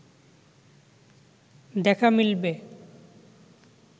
দেখা মিলবে